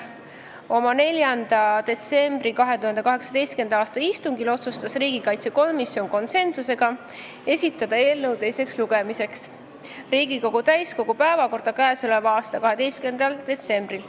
Oma 4. detsembri istungil otsustas riigikaitsekomisjon konsensusega esitada eelnõu teiseks lugemiseks täiskogu päevakorda 12. detsembriks.